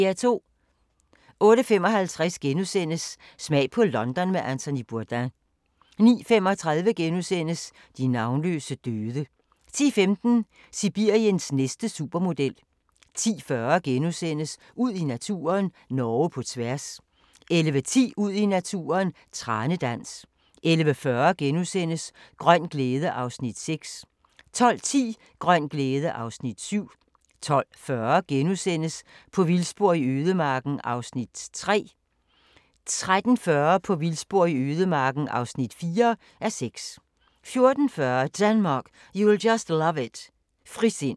08:55: Smag på London med Anthony Bourdain * 09:35: De navnløse døde * 10:15: Sibiriens næste supermodel 10:40: Ud i naturen: Norge på tværs * 11:10: Ud i naturen: Tranedans 11:40: Grøn glæde (Afs. 6)* 12:10: Grøn glæde (Afs. 7) 12:40: På vildspor i ødemarken (3:6)* 13:40: På vildspor i ødemarken (4:6) 14:40: Denmark, you'll just love it – frisind